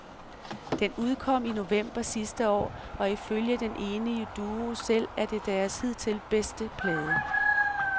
Den udkom i november sidste år, og ifølge den enige duo selv er det deres hidtil bedste plade.